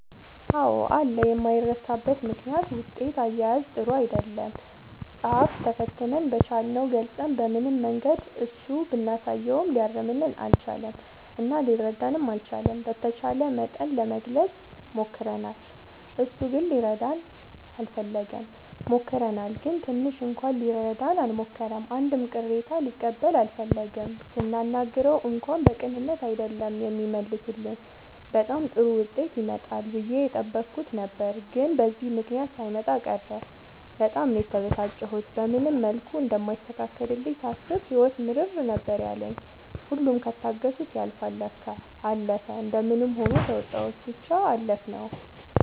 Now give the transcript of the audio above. አዎ አለ የማይረሳበት ምክንያት ውጤት አያያዝ ጥሩ አይደለም ፃፍ ተፈትነን በቻልነው ገልፀን በምንም መንገድ እሱ ብናሳየውም ሊያርምልን አልቻለም እና ሊረዳንም አልቻለም። በተቻለ መጠን ለመግለፅ ሞክርናል እሱ ግን ሊረዳን አልፈለገም። ሞክረናል ግን ትንሽ እንኳን ሊረዳን አልሞከረም አንድም ቅሬታ ሊቀበል አልፈለገም ስናናግረው እንኳን በቅንነት አይደለም የሚመልስልን በጣም ጥሩ ዉጤት ይመጣል ብዬ የጠበኩት ነበር ግን በዚህ ምክንያት ሳይመጣ ቀረ በጣም ነው የተበሳጨሁት። በምንም መልኩ እንደማይስተካከልልኝ ሳስብ ህይወት ምርር ነበር ያለኝ ሁሉም ከታገሱት ያልፍል ለካ። አለፈ እንደምንም ሆኖ ተዉጣንው ብቻ አለፍነው።